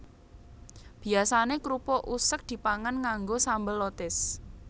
Biyasané krupuk useg dipangan nganggo sambel lotis